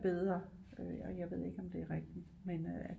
Bedre og jeg ved ikke om det er rigtigt men øh at